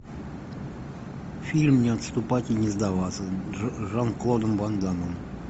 фильм не отступать и не сдаваться с жан клодом ван дамом